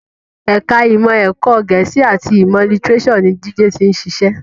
Ẹ̀ka ìmọ̀ ẹ̀kọ́ Gẹ̀ẹ́sì àti ìmọ̀ lítíréṣọ̀ ni Jide ti ń ṣiṣẹ́